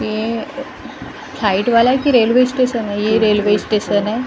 ये फ्लाइट वाला है की रेलवे स्टेशन है ये रेलवे स्टेशन है --